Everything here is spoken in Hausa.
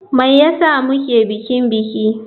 Me yasa muke bikin biki.